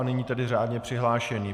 A nyní tedy řádně přihlášení.